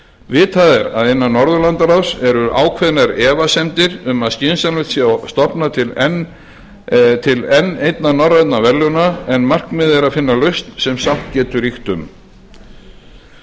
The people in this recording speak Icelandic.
vitað er að innan norðurlandaráðs eru ákveðnar efasemdir um að skynsamlegt sé að stofna til enn einna norrænna verðlauna en markmiðið er að finna lausn sem sátt getur ríkt um